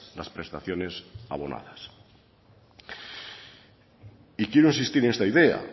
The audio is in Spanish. las prestaciones abonadas y quiero insistir en esta idea